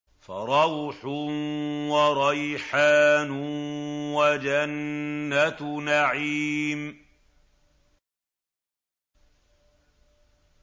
فَرَوْحٌ وَرَيْحَانٌ وَجَنَّتُ نَعِيمٍ